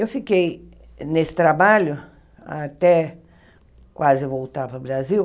Eu fiquei nesse trabalho até quase voltar para o Brasil,